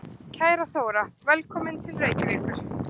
Kæra Þóra. Velkomin til Reykjavíkur.